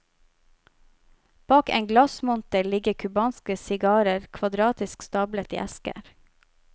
Bak en glassmonter ligger cubanske sigarer kvadratisk stablet i esker.